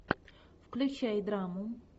включай драму